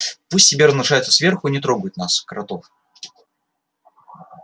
пусть себе размножаются сверху и не трогают нас кротов